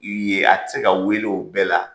ye a ti se ka wele o bɛɛ la.